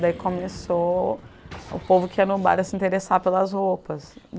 Daí começou o povo que ia no bar a se interessar pelas roupas.